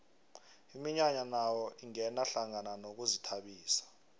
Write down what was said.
iminyanya nayo ingena hlangana nokuzithabisa